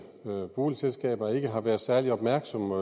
boligselskaber ikke har været særlig opmærksomme